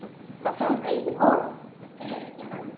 Það þarf engin orð.